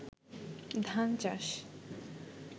ধান চাষ